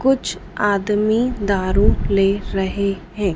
कुछ आदमी दारू ले रहे हैं।